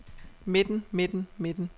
midten midten midten